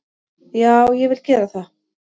Já, ég vil gera það.